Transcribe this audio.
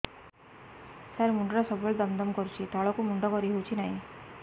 ସାର ମୁଣ୍ଡ ଟା ସବୁ ବେଳେ ଦମ ଦମ କରୁଛି ତଳକୁ ମୁଣ୍ଡ କରି ହେଉଛି ନାହିଁ